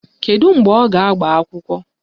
Kedu mgbe ọ ga-agba akwụkwọ?